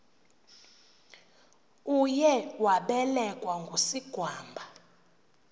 uye wabelekwa ngusigwamba